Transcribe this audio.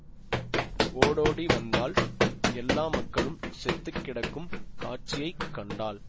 ஓடோடி வந்தாள் எல்லா மக்களும் செத்துக் கிடக்கும் காட்சியை கண்டாள்